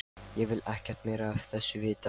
Ég vil ekkert meira af þessu vita.